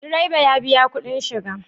Direba ya biya kuɗin shiga?